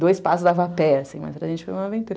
Do espaço dava a pé, assim, mas a gente uma aventura.